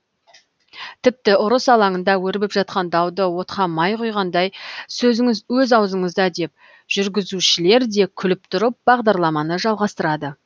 тіпті ұрыс алаңында өрбіп жатқан дауды отқа май құйғандай сөзіңіз өз аузыңызда деп жүргізушілерде күліп тұрып бағдарламаны жалғастырады